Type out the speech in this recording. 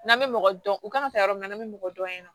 N'an bɛ mɔgɔ dɔn u kan ka taa yɔrɔ min na n bɛ mɔgɔ dɔn ye nɔ